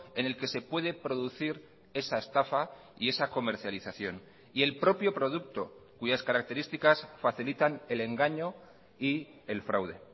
en el que se puede producir esa estafa y esa comercialización y el propio producto cuyas características facilitan el engaño y el fraude